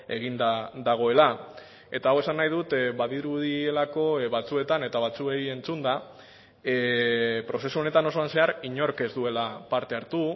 eginda dagoela eta hau esan nahi dut badirudielako batzuetan eta batzuei entzunda prozesu honetan osoan zehar inork ez duela parte hartu